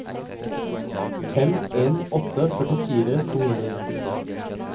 fem en åtte to førtifire to hundre og nittisju